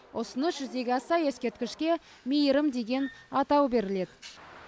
ұсыныс жүзеге асса ескерткішке мейірім деген атау беріледі